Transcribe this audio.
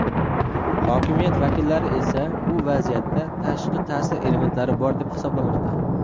Hokimiyat vakillari esa bu vaziyatda tashqi ta’sir elementlari bor deb hisoblamoqda.